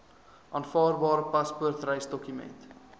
aanvaarbare paspoort reisdokument